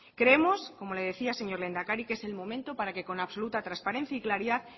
creemos como le decía señor lehendakari que es el momento para que con absoluta transparencia y claridad